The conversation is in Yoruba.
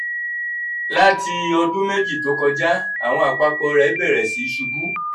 lati ọdun meji to kọja awọn apapo rẹ bẹrẹ si ṣubu